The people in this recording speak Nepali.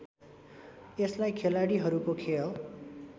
यसलाई खेलाड़ीहरूको खेल